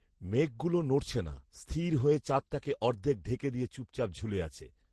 মেঘগুলো নড়ছে না, স্থির হয়ে চাঁদটাকে অর্ধেক ঢেকে দিয়ে চুপচাপ ঝুলে আছে